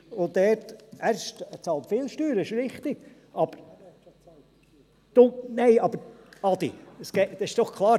Und da ...– er bezahlt viele Steuern, das ist richtig, aber ...– Nein aber, Adi Haas, das ist doch klar: